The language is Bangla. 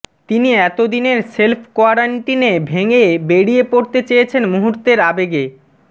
তিনি এত দিনের সেল্ফ কোয়ারেন্টাইনে ভেঙে বেরিয়ে পড়তে চেয়েছেন মুহূর্তের আবেগে